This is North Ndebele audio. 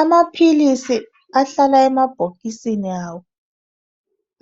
Amaphilisi ahlala emabhokisini awo.